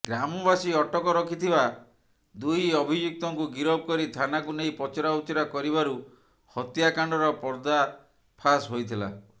ଗ୍ରାମବାସୀ ଅଟକ ରଖିଥିବା ଦୁଇ ଅଭିଯୁକ୍ତଙ୍କୁ ଗିରଫକରି ଥାନାକୁ ନେଇ ପଚରା ଉଚରା କରିବାରୁ ହତ୍ୟାକାଣ୍ଡର ପର୍ଦାଫାସ ହୋଇଥିଲା